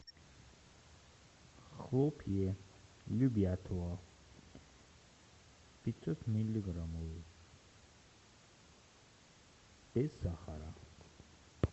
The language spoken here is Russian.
хлопья любятово пятьсот миллиграммов без сахара